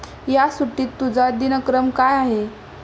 या सुट्टीत तुझा दिनक्रम काय आहे?